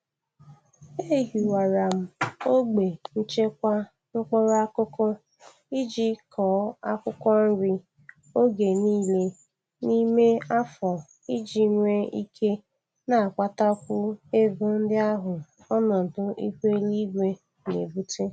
Ehiwara m ogbe nchekwa mkpụrụ akụkụ iji kọọ akwụkwọ nri oge nile n'ime afọ iji nwee ike na-akpatakwu ego ndị ahụ onọdụ ihu eluigwe na-ebute.